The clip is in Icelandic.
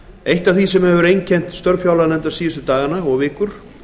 eitt af því sem hefur einkennt störf fjárlaganefndar síðustu daga og vikur